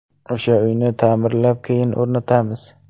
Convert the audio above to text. O‘sha uyni ta’mirlab, keyin o‘rnatamiz.